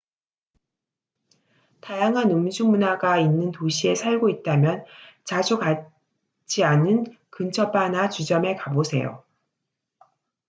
다양한 음주 문화가 있는 도시에 살고 있다면 자주 가지 않은 근처 바나 주점에 가보세요